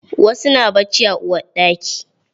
Wasu na bacci a uwarɗaki.